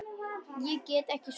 Ég get ekki sofnað.